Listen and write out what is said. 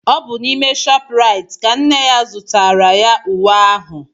Ọ bụ n'ime ShopRite ka nne ya zụtaara ya uwe ahụ.